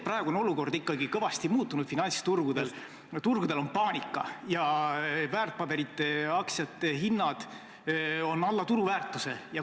Praegu on olukord finantsturgudel ikkagi kõvasti muutunud, turgudel on paanika ja väärtpaberite aktsiate hinnad on alla turuväärtuse.